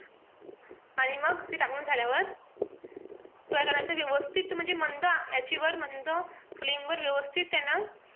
आणि मग ते टाकून झाल्यावर काय करायचं व्यवस्थित म्हणजे मंद आचेवर मंद flame वर व्यवस्थित त्यांना,